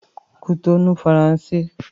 Kútọnu - Faransé